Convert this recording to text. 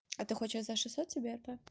а ты хочешь за шестьсот себе это